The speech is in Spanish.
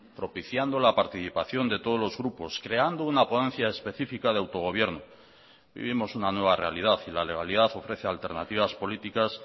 propiciando la participación de todos los grupos creando una ponencia específica de autogobierno vivimos una nueva realidad y la legalidad ofrece alternativas políticas